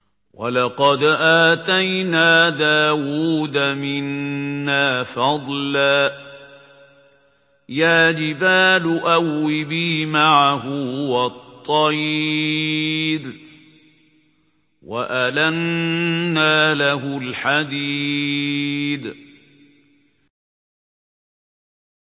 ۞ وَلَقَدْ آتَيْنَا دَاوُودَ مِنَّا فَضْلًا ۖ يَا جِبَالُ أَوِّبِي مَعَهُ وَالطَّيْرَ ۖ وَأَلَنَّا لَهُ الْحَدِيدَ